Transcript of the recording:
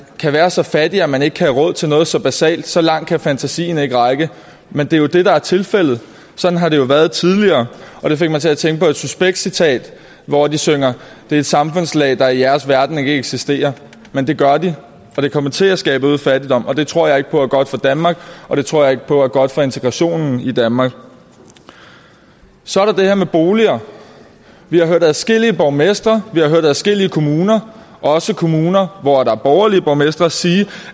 kan være så fattig at man ikke har råd til noget så basalt så langt kan fantasien ikke række men det er jo det der er tilfældet sådan har det jo været tidligere det fik mig til at tænke på et suspekt citat hvor de synger det er et samfundslag der i jeres verden ikke eksisterer men det gør det og det kommer til at skabe øget fattigdom og det tror jeg ikke på er godt for danmark og det tror jeg ikke på er godt for integrationen i danmark så er der det her med boliger vi har hørt adskillige borgmestre vi har hørt adskillige kommuner også kommuner hvor der er borgerlige borgmestre sige